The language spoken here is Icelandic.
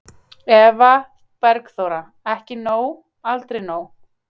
Eva Bergþóra: Ekki nóg, aldrei nóg?